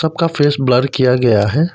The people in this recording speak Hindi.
का फेस ब्लर किया गया है।